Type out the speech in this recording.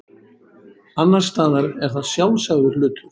annars staðar er það sjálfsagður hlutur